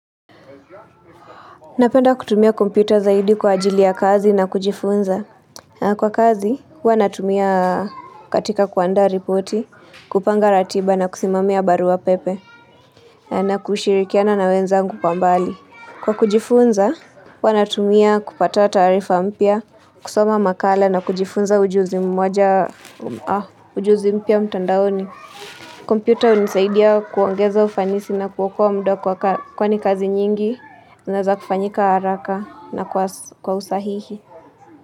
Napenda kutumia kompyuta zaidi kwa ajili ya kazi na kujifunza Kwa kazi, hua natumia katika kuandaa ripoti, kupanga ratiba na kusimamia barua pepe na kushirikiana na wenzangu kwa mbali Kwa kujifunza, hua natumia kupata taarifa mpya, kusoma makala na kujifunza ujuzi mmoja, ujuzi mpya mtandaoni kompyuta hunisaidia kuongeza ufanisi na kuokoa muda kwa kwani kazi nyingi inaeza kufanyika haraka na kwa usahihi.